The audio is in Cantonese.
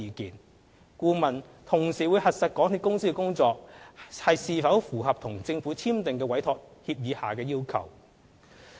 此外，監核顧問會同時核實港鐵公司的工作是否符合與政府簽訂的委託協議下的要求。